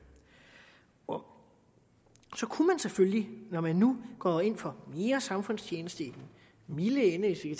om så kunne man selvfølgelig når man nu går ind for mere samfundstjeneste i den milde ende hvis vi